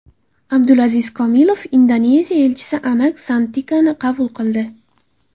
Abdulaziz Kamilov Indoneziya elchisi Anak Santikani qabul qildi.